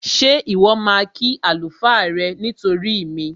Ṣé Ìwọ́ máa kí àlùfáà rẹ nítorí mi?